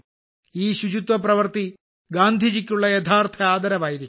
ഈ ശുചിത്വ പ്രവൃത്തി ഗാന്ധിജിക്കുള്ള യഥാർത്ഥ ആദരവായിരിക്കും